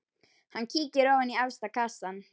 Hann kíkir ofan í efsta kassann.